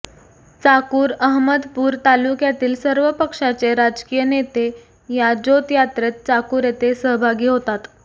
चाकूर अहमदपूर तालुक्यातील सर्व पक्षाचे राजकीय नेते या ज्योत यात्रेत चाकूर येथे सहभागी होतात